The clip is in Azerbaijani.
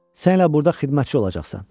Sən elə burda xidmətçi olacaqsan.